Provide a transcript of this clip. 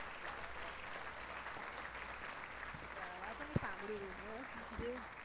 બરાબર. બરાબર. આ તો મેં સાંભળેલું વ્યવસ્થિત જેવું